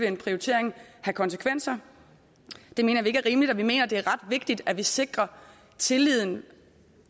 en prioritering have konsekvenser det mener vi ikke er rimeligt vi mener det er ret vigtigt at vi sikrer tilliden